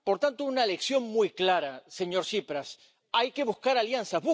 Por tanto, una lección muy clara, señor Tsipras hay que buscar alianzas.